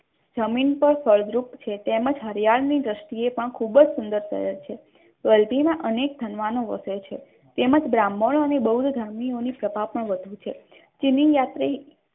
જમીન પણ ફળદ્રુપ છે તેમ જ હરિયાણની ખૂબ જ સુંદર શહેર છે વલભીમાં અનેક વિદ્વાનો વસે છે તેમ જ બ્રાહ્મણોને બહુ ધર્મીઓની સભા પણ વધુ છે, જેની યાત્રી